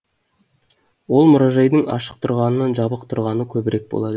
ол мұражайдың ашық тұрғанынан жабық тұрғаны көбірек болады